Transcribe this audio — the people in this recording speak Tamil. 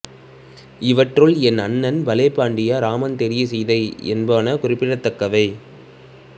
இவற்றுள் என் அண்ணன் பலே பாண்டியா ராமன் தேடிய சீதை என்பன குறிப்பிடத்தக்கவை